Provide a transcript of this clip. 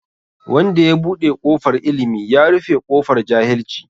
Wanda ya buɗe kofar Ilimi, ya rufe ƙofar jahilci.